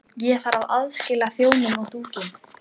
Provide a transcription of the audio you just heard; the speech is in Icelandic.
Ég þarf að aðskilja þjófinn og dúkkuna.